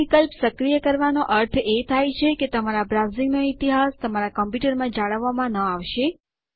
આ વિકલ્પ સક્રિય કરવાનો અર્થ એ થાય છે કે તમારા બ્રાઉઝિંગનો ઇતિહાસ તમારા કમ્પ્યુટર માં જાળવાવામાં ન આવશે